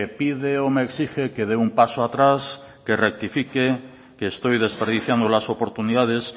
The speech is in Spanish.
pide o me exige que dé un paso atrás que rectifique que estoy desperdiciando las oportunidades